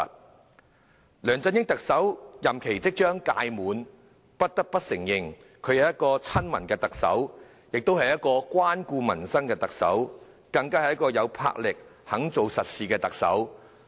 特首梁振英的任期即將屆滿，我們不得不承認，他是一個親民的特首，也是一個關顧民生的特首，更是一個有魄力、肯做實事的特首。